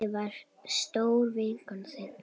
Ég var stór vinkona þín.